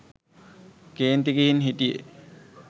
කේන්ති ගිහින් හිටියෙ.